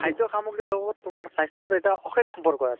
খাদ্য় সামগ্ৰীৰ লগত তোমাৰ স্বাস্থ্য়ৰ এটা অশেষ সম্পৰ্ক আছে ।